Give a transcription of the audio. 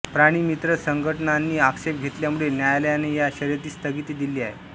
प्राणीमित्र संघटनांनी आक्षेप घेतल्यामुळे न्यायालयाने या शर्यतीस स्थगिती दिली आहे